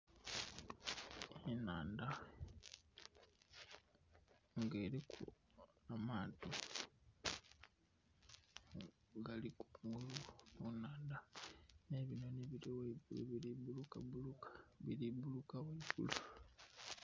Enhandha ng'eliku amaato, nga gali kungulu ku nhaanda. Nh' ebinhonhi bili ghaigulu bili bulukabuluka, bili buluka ghaigulu.